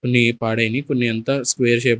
కొన్ని పాడైనెయ్ కొన్ని అంతా స్కోయర్ షేప్ --